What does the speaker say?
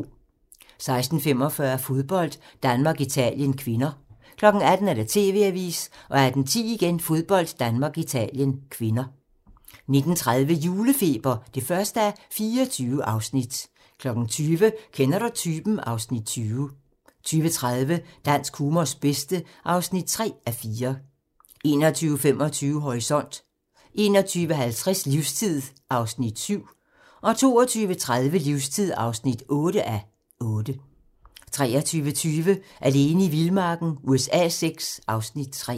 16:45: Fodbold: Danmark-Italien (k) 18:00: TV-avisen 18:10: Fodbold: Danmark-Italien (k) 19:30: Julefeber (1:24) 20:00: Kender du typen? (Afs. 20) 20:30: Dansk humors bedste (3:4) 21:25: Horisont 21:50: Livstid (7:8) 22:30: Livstid (8:8) 23:20: Alene i vildmarken USA VI (Afs. 3)